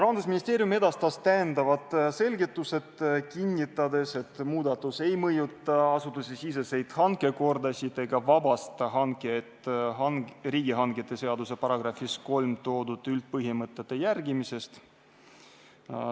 Rahandusministeerium edastas oma selgitused, kinnitades, et muudatus ei mõjuta asutusesiseseid hankekordasid ega vabasta riigihangete seaduse §-s 3 toodud üldpõhimõtete järgimisest.